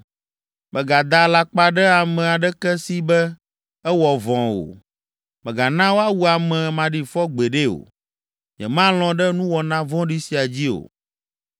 “Mègada alakpa ɖe ame aɖeke si be ewɔ vɔ̃ o. Mègana woawu ame maɖifɔ gbeɖe o. Nyemalɔ̃ ɖe nuwɔna vɔ̃ɖi sia dzi o.